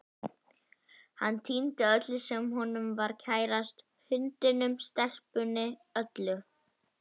Hann týndi öllu sem honum var kærast, hundinum, stelpunni, öllu.